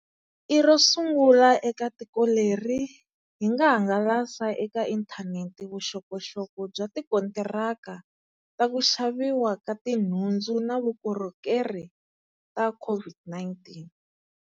I ro sungula eka tiko leri, hi nga hangalasa eka inthanete vuxokoxoko bya tikontiraka ta ku xaviwa ka tinhundzu na vukorhokeri ta COVID-19.